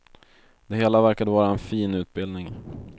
Det hela verkade vara en fin utbildning.